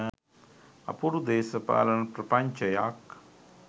අපූරු දේශපාලන ප්‍රපංචයක්